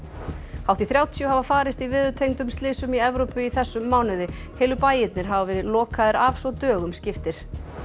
hátt í þrjátíu hafa farist í slysum í Evrópu í þessum mánuði heilu bæirnir hafa verið lokaðir af svo dögum skiptir